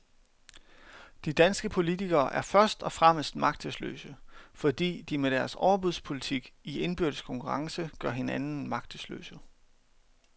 De danske politikere er først og fremmest magtesløse, fordi de med deres overbudspolitik i indbyrdes konkurrence gør hinanden magtesløse.